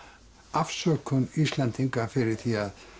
afsökun Íslendinga fyrir því að